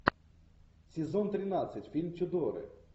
сезон тринадцать фильм тюдоры